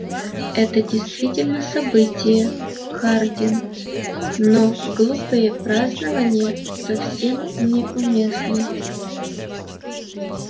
это действительно событие хардин но глупые празднования совсем не уместны